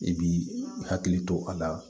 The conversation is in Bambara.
I b'i hakili to a la